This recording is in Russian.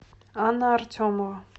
анна артемова